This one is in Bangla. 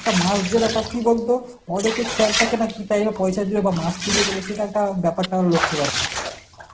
একটা মাস যাবে একটা কি বলতো পয়সা দিয়ে বা মাস পুজিয়ে গেল সেটারটাও ব্যাপারটাও লক্ষ্য রাখা